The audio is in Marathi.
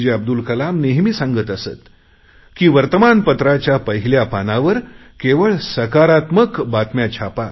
जे अब्दुल कलाम नेहमी सांगत असत की वर्तमानपत्राच्या पहिल्या पानावर केवळ सकारात्मक बातम्या छापा